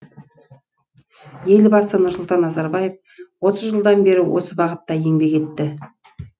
елбасы нұрсұлтан назарбаев отыз жылдан бері осы бағытта еңбек етті